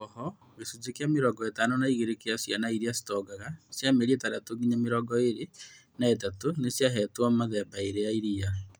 Ooho gĩcunjĩ kĩa mĩrongo ĩtano na igĩrĩ kĩa ciana iria citongaga cia mĩeri ĩtandatũ nginya mĩrongo ĩĩrĩ na ĩtatũ nĩciahetwo engwe mĩthemba ĩĩrĩ ya iria